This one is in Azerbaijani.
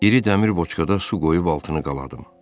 İri dəmir boçkada su qoyub altını qaldım.